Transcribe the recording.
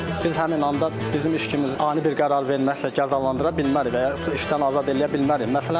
Biz həmin anda bizim işçimizə ani bir qərar verməklə cəzalandıra bilmərik və yaxud da işdən azad eləyə bilmərik.